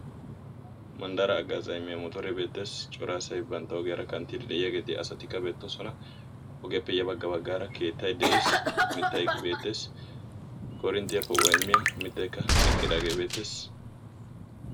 Manddaraa haggazzaa immiyaa motoree beettes. Cora asay bantta ogiyaara kanttiiddi de"iyaageeti hegeeti asatikka beettoosona. Ogiyaappe ya bagga baggaara keettay de'ees. Mittay beettes. Mittay beettes. Koorinttiya poo"uwaa immiyaa mittaykka eqqidaagee beettes.